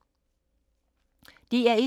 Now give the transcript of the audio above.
DR1